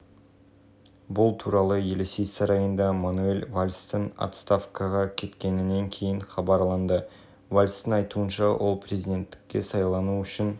түнде футболдан чемпиондар лигасының топтық кезеңінде команда өзара бақ сынасты францияның ішкі істер министрі бернар казнв